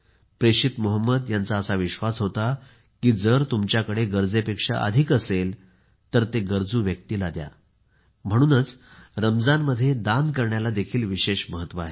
प्रेषित मोहम्मद यांचा असा विश्वास होता की जर तुमच्याकडे गरजेपेक्षा अधिक असेल तर ते गरजू व्यक्तीला द्या म्हणूनच रमजानमध्ये दान करण्याला देखील खूप महत्व आहे